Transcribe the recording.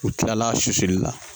U kilal'a susuli la